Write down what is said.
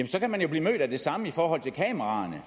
så kan man jo blive mødt af det samme i forhold til kameraerne